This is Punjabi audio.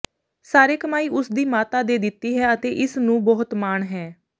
ਸਾਰੇ ਕਮਾਈ ਉਸ ਦੀ ਮਾਤਾ ਦੇ ਦਿੱਤੀ ਹੈ ਅਤੇ ਇਸ ਨੂੰ ਬਹੁਤ ਮਾਣ ਹੈ